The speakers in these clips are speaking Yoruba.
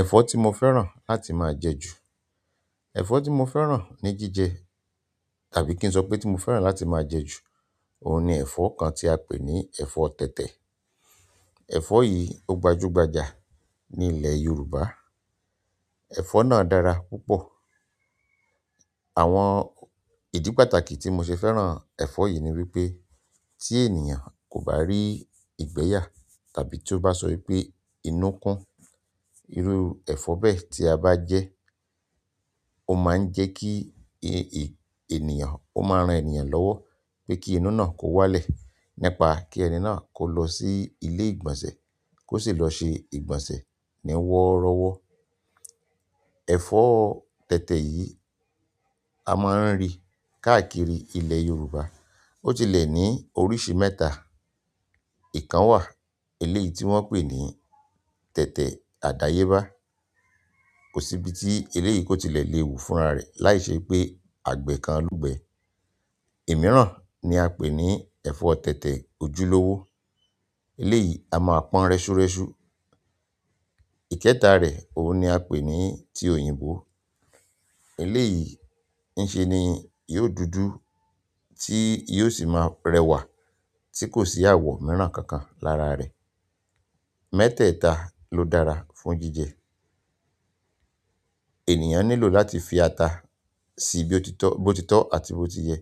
Ẹ̀fọ́ tí mo fẹ́ràn láti máa jẹ ju, ẹ̀fọ́ tí mo fẹ́ràn ní jíjẹ tàbí kí n sọ pé tí mo fẹ́ràn láti máa jẹ ju, òun ni ẹ̀fọ́ kan tí a pè ní ẹ̀fọ́ tètè. Ẹ̀fọ́ yìí ó gbajúgbajà ní ilẹ̀ Yorùbá. Ẹ̀fọ́ náà dára púpọ̀. Àwọn ìdí pàtàkì tí mo ṣe fẹ́ràn ẹ̀fọ́ yìí ni wípé tí ènìyàn kò bá rí ìgbẹ́ yà tàbí tí ó bá sọ wípé inú ń kún, irú ẹ̀fọ́ bẹ́ẹ̀ tí a bá jẹ́, ó máa ń jẹ́ kí ènìyàn ó máa ran ènìyàn lọ́wọ́ pé kí inú náà kó wálẹ̀. Nípa kí ẹni náà kó lọ sí ilé ìgbọ̀nsẹ̀ kó sì lọ ṣe ìgbọ̀nsẹ̀ ní wọ́rọ́wọ́. Ẹ̀fọ́ tètè yìí a máa ń rí káàkiri ilẹ̀ Yorùbá. Ó tilẹ̀ ní oríṣi mẹ́ta. Ìkan wà, eléyìí tí wọ́n pè ní tètè àdáyébá. Kò sí ibi tí eléyìí kò tilẹ̀ lè wù fúnra rẹ̀ láìṣẹ́ pé àgbẹ̀ kan lú gbẹ̀. Ẹ̀ mìíràn ni a pè ní ẹ̀fọ́ tètè ojúlówó. Eléyìí a máa pọn rẹ́ṣu rẹ́ṣu. Ìkẹta rẹ̀, òun ni a pè ní ti òyìnbó. Eléyìí ń ṣe ni yóò dúdú tí yìí ó sì máa rẹwà tí kò sì àwọ̀ mìíràn kankan lára rẹ̀. Mẹ́tẹ̀ẹ̀ta ló dára fún jíjẹ. Ènìyàn nílò láti fi ata sí i bí ó ti tọ́, bó ti tọ́ àti bó ti yẹ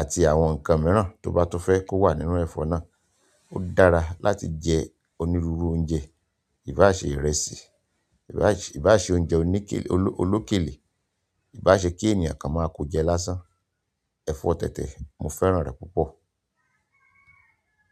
àti àwọn nǹkan mìíràn tó bá tó fẹ́ kó wà nínú ẹ̀fọ́ náà. Ó dára láti jẹ onírúurú oúnjẹ, ìbáṣe ìrẹsì, ìbáṣe oúnjẹ olókèlé, ìbáṣe kí ènìyàn kan máa kó jẹ lásán. Ẹ̀fọ́ tètè, mo fẹ́ràn rẹ̀ púpọ̀.